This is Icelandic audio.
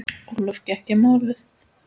Ólöf gekk í málið.